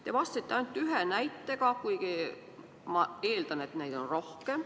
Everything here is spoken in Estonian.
Te tõite vastates ainult ühe näite, aga ma eeldan, et neid on rohkem.